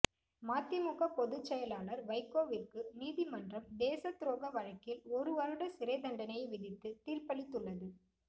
மதிமுக பொதுச்செயலாளர் வைகோவிற்கு நீதிமன்றம் தேசத்துரோக வழக்கில் ஒரு வருட சிறைத்தண்டனை விதித்து தீர்ப்பளித்துள்ளது